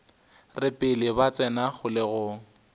re pele ba tsena kgolegong